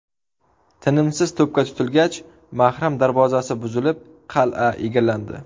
Tinimsiz to‘pga tutilgach, Mahram darvozasi buzilib, qal’a egallandi.